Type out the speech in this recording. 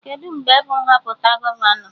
Kedụ mgbe bụ Nhọpụta gọvanọ?